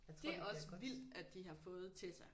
Det er også vildt at de har fået Tessa